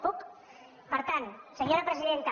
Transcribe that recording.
puc per tant senyora presidenta